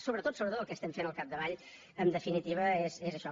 sobretot sobretot el que estem fent al capdavall en definitiva és això